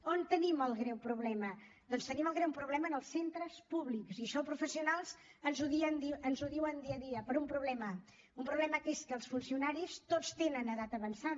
on tenim el greu problema doncs tenim el greu problema en els centres públics i això els professionals ens ho diuen dia a dia però un problema un problema que és que els funcionaris tots tenen edat avançada